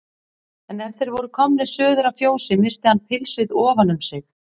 En er þeir voru komnir suður að fjósi missti hann pilsið ofan um sig.